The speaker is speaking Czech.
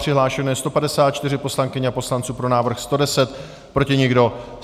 Přihlášeno je 154 poslankyň a poslanců, pro návrh 110, proti nikdo.